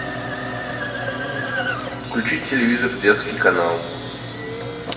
включить телевизор детский канал